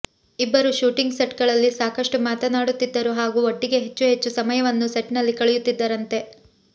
ಇಬ್ಬರೂ ಶೂಟಿಂಗ್ ಸೆಟ್ಗಳಲ್ಲಿ ಸಾಕಷ್ಟು ಮಾತನಾಡುತ್ತಿದ್ದರು ಹಾಗೂ ಒಟ್ಟಿಗೆ ಹೆಚ್ಚು ಹೆಚ್ಚು ಸಮಯವನ್ನು ಸೆಟ್ನಲ್ಲಿ ಕಳೆಯುತ್ತಿದ್ದರಂತೆ